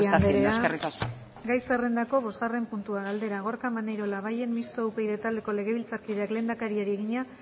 usted lo está haciendo eskerrik asko eskerrik asko oregi anderea gai zerrendako bosgarren puntua galdera gorka maneiro labayen mistoa upyd taldeko legebiltzarkideak lehendakariari egina